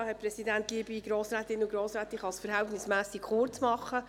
Ich kann es verhältnismässig kurz machen.